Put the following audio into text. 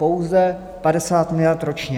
Pouze 50 miliard ročně.